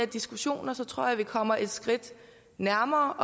diskussioner tror jeg vi kommer et skridt nærmere